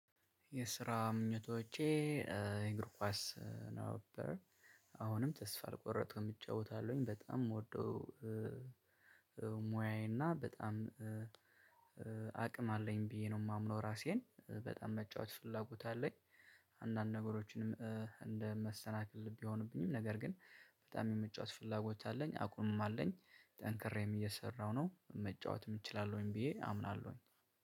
የስራ ምኞቶቼ። እግር ኳስ ነበር አሁንም ተስፋ አልቆርጥም እጫወታለሁኝ በጣም ምወደው። ሙያዬና በጣም አቅም አለኝ ብዬ ነው የማምነው ራሴን በጣም መጫወት ፍላጎት አለኝ። አንዳንድ ነገሮችንም እንደ መሰናክል ቢሆንብኝም ነገር ግን በጣም የመጫወት ፍላጎት አለኝ አቅሙም አለኝ። ጠንክሬም እየሰራሁ ነው መጫወትም እችላለሁኝ ብዬ አምናለሁኝ።